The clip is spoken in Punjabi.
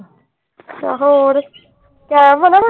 ਹੋਰ ਕੈਮ ਆ ਨਾ।